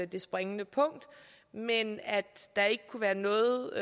det springende punkt men at der ikke kunne være noget